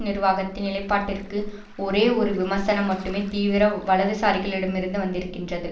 நிர்வாகத்தின் நிலைப்பாட்டிற்கு ஒரே ஒரு விமர்சனம் மட்டுமே தீவிர வலதுசாரிகளிடமிருந்து வந்திருக்கின்றது